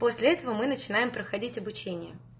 после этого мы начинаем проходить обучение